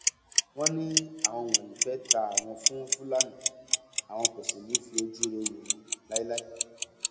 wọn ní àwọn wọnyí fẹ́ ta àwọn fún fúlàní àwọn kò sì ní í fi ojúure wò wọn láéláé